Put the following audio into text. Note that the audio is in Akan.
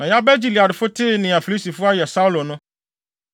Na Yabes Gileadfo tee nea Filistifo ayɛ Saulo no,